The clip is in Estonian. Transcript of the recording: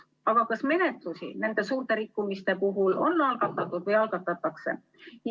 Aga kas menetlusi nende suurte rikkumiste puhul on algatatud või algatatakse?